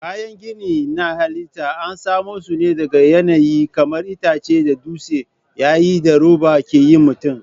Kayan gini na halitta an samo su ne daga yanayi kamar itace da dutse yayin da roba ke yin mutum.